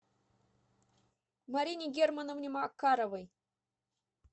марине германовне макаровой